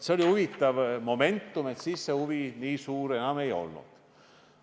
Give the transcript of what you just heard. Oli huvitav moment, et siis see huvi nii suur enam ei olnud.